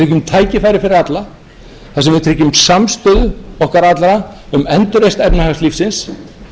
tækifæri fyrir alla þar sem við tryggjum samstöðu okkar allra um endurreisn efnahagslífsins þar sem við gefum öllum pláss og